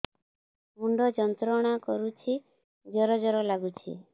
ମୁଣ୍ଡ ଯନ୍ତ୍ରଣା କରୁଛି ଜର ଜର ଲାଗୁଛି